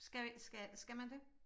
Skal jeg skal skal man det?